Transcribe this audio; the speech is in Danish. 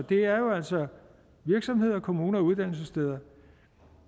det er jo altså virksomheder kommuner og uddannelsessteder